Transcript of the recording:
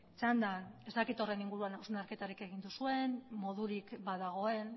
txandan ez dakit horren inguruan hausnarketarik egin duzuen modurik badagoen